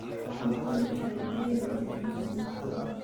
wax macuni kari liin iyo muus laan